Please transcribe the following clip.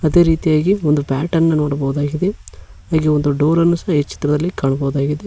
ಅದೇ ರೀತಿಯಾಗಿ ಒಂದು ಬ್ಯಾಟ್ ಅನ್ನು ನೋಡ್ಬೋದಾಗಿದೆ ಹಾಗೆ ಒಂದು ಡೋರ್ ಅನ್ನು ಸಹ ಈ ಚಿತ್ರದಲ್ಲಿ ಕಾಣಬಹುದಾಗಿದೆ.